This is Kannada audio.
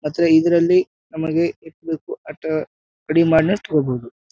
ಮಾತ್ರ ಇದ್ರಲ್ಲಿ ನಮಗೆ ಎಷ್ಟು ಬೇಕು ಅಷ್ಟು ಹೋಗ್ಬಹುದು.